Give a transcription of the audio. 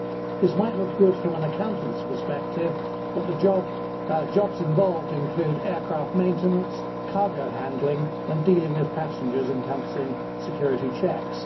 This might look good from an accountant's perspective, but the jobs involved include aircraft maintenance, cargo handling and dealing with passengers, encompassing security checks.